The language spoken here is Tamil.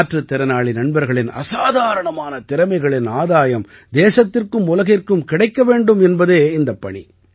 மாற்றுத் திறனாளி நண்பர்களின் அசாதாரணமான திறமைகளின் ஆதாயம் தேசத்திற்கும் உலகிற்கும் கிடைக்க வேண்டும் என்பதே இந்தப் பணி